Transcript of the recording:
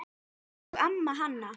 Elsku amma Hanna.